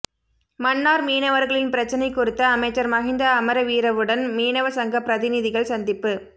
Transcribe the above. மன்னார் மீனவர்களின் பிரச்சினை குறித்து அமைச்சர் மஹிந்த அமரவீரவுடன் மீனவ சங்க பிரதி நிதிகள் சந்திப்பு